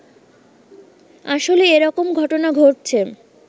আসলে এরকম ঘটনা ঘটছে